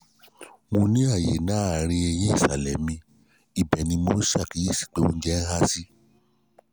mo ní àyè láàárín eyín ìsàlẹ̀ mi ibẹ̀ ni mo ṣàkíyèsí pé oúnjẹ ń há sí